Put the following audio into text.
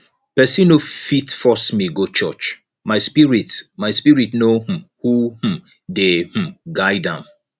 pesin no fit force me go church my spirit my spirit know um who um dey um guard am